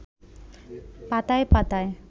পাতায় পাতায়